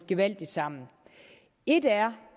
gevaldigt sammen et er